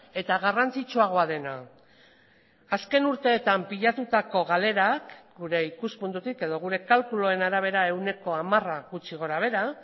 eta garrantzitsuagoa dena azken urteetan pilatutako galerak gure ikuspuntutik edo gure kalkuluen arabera ehuneko hamara gutxi gorabehera